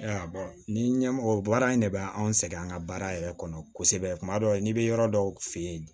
Ayiwa ni ɲɛmɔgɔ baara in ne bɛ anw sɛgɛn an ka baara yɛrɛ kɔnɔ kosɛbɛ kuma dɔw n'i bɛ yɔrɔ dɔw fɛ yen